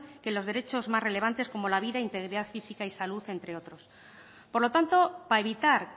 que los derechos más relevantes como la vida integridad física y salud entre otros por lo tanto para evitar